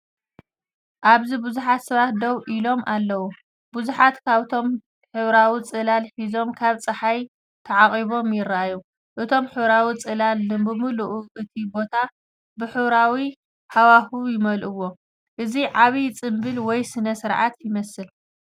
ኣብዚ ብዙሓት ሰባት ደው ኢሎም ኣለዉ። ብዙሓት ካብኣቶም ሕብራዊ ጽላል ሒዞም፡ ካብ ጸሓይ ተዓቚቦም ይረኣዩ። እቶም ሕብራዊ ጽላል ንብምሉኡ እቲ ቦታ ብሕብራዊ ሃዋህው ይመልእዎ። እዚ ዓቢ ጽምብል ወይ ስነ-ስርዓት ይመስል።